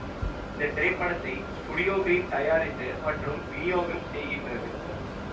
இந்த திரைப்படத்தைத் Studio Green தயாரித்து மற்றும் விநியோகம் செய்கின்றது